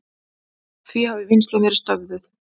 Því hafi vinnslan verið stöðvuð.